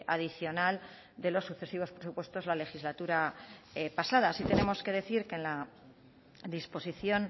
adicional de los sucesivos presupuestos la legislatura pasada sí tenemos que decir que la disposición